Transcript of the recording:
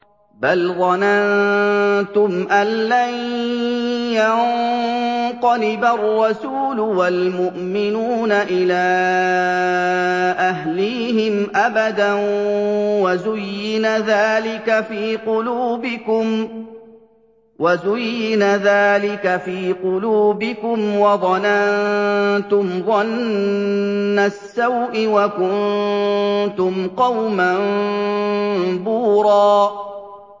بَلْ ظَنَنتُمْ أَن لَّن يَنقَلِبَ الرَّسُولُ وَالْمُؤْمِنُونَ إِلَىٰ أَهْلِيهِمْ أَبَدًا وَزُيِّنَ ذَٰلِكَ فِي قُلُوبِكُمْ وَظَنَنتُمْ ظَنَّ السَّوْءِ وَكُنتُمْ قَوْمًا بُورًا